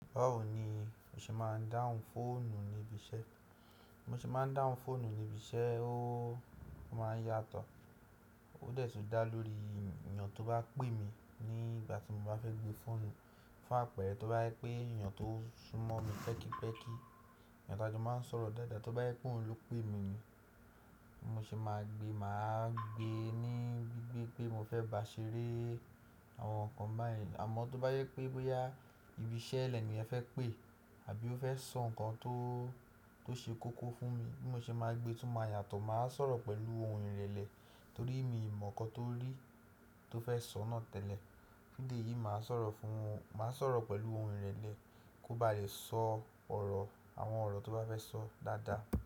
Báwo ni mo ṣe máa ń dáhùn fóònù níbi iṣẹ́? Mo ṣe máa ń dáhùn fóònù níbi iṣẹ́, ó máa ń yàtọ̀. Ó dẹ́ẹ̀ tí dá lórí ènìyàn tó bá pè mí ní ìgbà tí mo bá fẹ́ gbé fóònù. Fún àpẹ̀rẹ́, tó bá yẹ pé ènìyàn tó súnmọ́ mi pẹ́kípẹ́kí, ènìyàn tájọ máa ń sọ̀rọ̀ dáadáa tí ó bá yẹ pé òun ló pè mí ni mo ṣe máa gbé, màá gbé e ní gbígbé pé mo fẹ́ bà ṣeré àwọn nǹkan báyẹn. Àmọ́ tó bá yẹ pé bóyá ibi iṣẹ́ ẹlẹ́ni yẹn fẹ́ pè àbí ó fẹ́ sọ nǹkan tó, tó ṣe kókó fún mi bí mo ṣe máa gbé tú máa yàtọ̀. Màá sọ̀rọ̀ pẹ̀lú ohun ìrẹ̀lẹ̀ torí mi ò mọ̀ nǹkan tó rí tó fẹ́ sọ náà tẹ́lẹ̀. Ní ìdí èyí, màá sọ̀rọ̀ fún, màá sọ̀rọ̀ pẹ̀lú ohun ìrẹ̀lẹ̀ kó ba lè sọ ọ̀rọ̀, àwọn ọ̀rọ̀ tó bá fẹ́ sọ dáadáa.